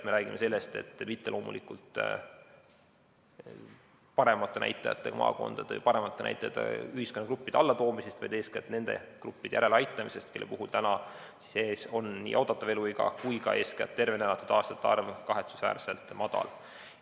Me ei räägi loomulikult mitte paremate näitajatega maakondade ja ühiskonnagruppide näitajate allatoomisest, vaid eeskätt nende gruppide järeleaitamisest, kellel on oodatav eluiga ja eeskätt tervena elatud aastate arv kahetsusväärselt madal.